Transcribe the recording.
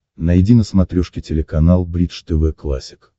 найди на смотрешке телеканал бридж тв классик